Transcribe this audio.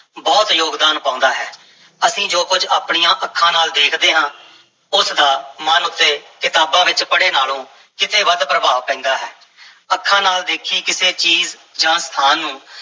ਬਹੁਤ ਯੋਗਦਾਨ ਪਾਉਂਦਾ ਹੈ, ਅਸੀਂ ਜੋ ਕੁਝ ਆਪਣੀਆਂ ਅੱਖਾਂ ਨਾਲ ਦੇਖਦੇ ਹਾਂ, ਉਸ ਦਾ ਮਨ ਉੱਤੇ ਕਿਤਾਬਾਂ ਵਿੱਚ ਪੜ੍ਹੇ ਨਾਲੋਂ ਕਿਤੇ ਵੱਧ ਪ੍ਰਭਾਵ ਪੈਂਦਾ ਹੈ ਅੱਖਾਂ ਨਾਲ ਦੇਖੀ ਕਿਸੇ ਚੀਜ਼ ਜਾਂ ਸਥਾਨ ਨੂੰ